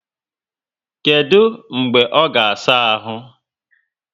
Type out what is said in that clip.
Kedu mgbe ọ ga saa áhù?